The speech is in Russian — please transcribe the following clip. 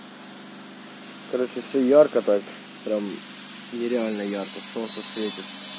короче всё ярко так прямо нереально ярко солнце светит